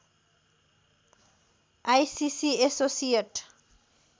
ICC associate